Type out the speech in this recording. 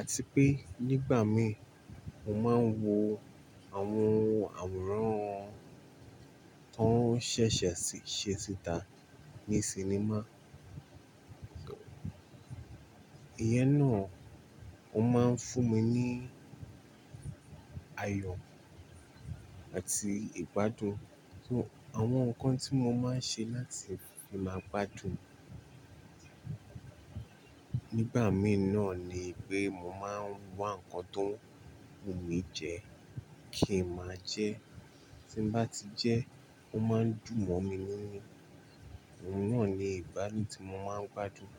Àti pé nígbà mí, mo máa ń wo àwọn àwòrán tó ṣẹ̀ṣẹ̀ ṣí ṣe síta ní cinema. Iyẹn náà, ó máa ń fún mi ní ayọ̀ àti ìgbádùn. Àwọn nǹkan tí mo máa ń ṣe láti fi máa gbádùn nígbà mí náà ni pé mo máa ń ws nǹkan tó ń wù mí jẹ kí n máa jẹ. Tí mo bá ti jẹ, ó máa ń dùn mọ́ mi nínu. Òun náà ni ìbánidọ́rẹ́ tí mo máa ń gbádùn.